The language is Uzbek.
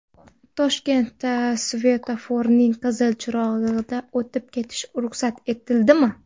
Toshkentda svetoforning qizil chirog‘iga o‘tib ketish ruxsat etildimi?.